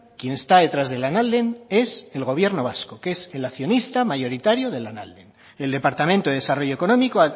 quién está detrás de lanalden es el gobierno vasco que es el accionista mayoritario de lanalden el departamento de desarrollo económico